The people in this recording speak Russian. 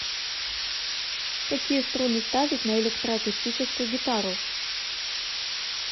какие струны ставить на электроакустическую гитару